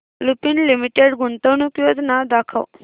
Lupin limited गुंतवणूक योजना दाखव